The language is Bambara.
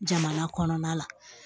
Jamana kɔnɔna la